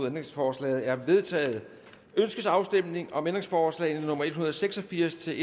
ændringsforslaget er vedtaget ønskes afstemning om ændringsforslag nummer en hundrede og seks og firs til